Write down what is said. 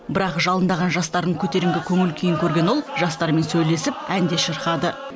бірақ жалындаған жастардың көтеріңкі көңіл күйін көрген ол жастармен сөйлесіп ән де шырқады